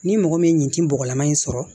Ni mɔgɔ min ti bɔgɔlama in sɔrɔ